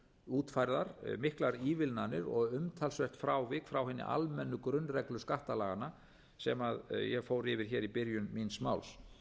útfærðar miklar ívilnanir og umtalsverð frávik frá hinum almennu grunnreglu skattalaganna sem ég fór yfir hér í byrjun míns máls